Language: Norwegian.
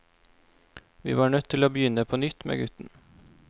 Vi var nødt til å begynne på nytt med gutten.